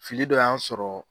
Fili dɔ y' sɔrɔ.